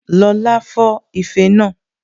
Lọla fọ́ ife náà